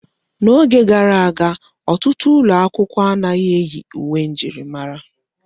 N'oge gara aga, ọtụtụ ụlọ akwụkwọ anaghị eyi uwe njirimara.